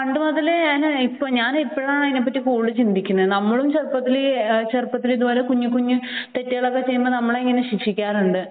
പണ്ട് മുതലേ എനിക്ക് ഞാൻ ഇപ്പോഴാണ് അതിനെപ്പറ്റി കൂടുതൽ ചിന്തിക്കുന്നത് നമ്മളും ചെറുപ്പത്തിൽ കുഞ്ഞു കുഞ്ഞു തെറ്റുകൾ ചെയ്യുമ്പോൾ നമ്മളെ ഇങ്ങനെ ശിക്ഷിക്കാറുണ്ട്